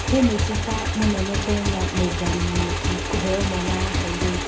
Mĩnĩcita mũnene Kenya Nũngari Mũnyeki kũheo mwana wa kairĩtu.